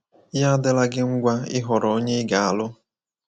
Ya adịla gi ngwa ịhọrọ onye ị ga-alụ!